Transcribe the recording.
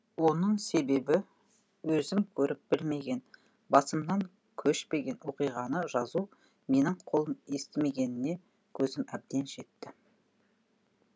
оның себебі өзім көріп білмеген басымнан көшпеген оқиғаны жазу менің қолым естімегеніне көзім әбден жетті